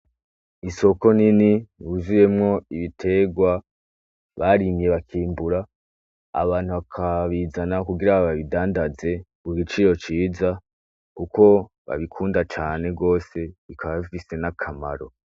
Isoko nini yuziyemwo ibitegwa barimye bakimbura abantu bakabizana kugira babidandaze kugiciro ciza kuko babikunda cane gose bikaba bifise n'akamaro.